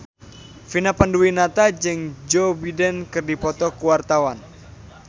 Vina Panduwinata jeung Joe Biden keur dipoto ku wartawan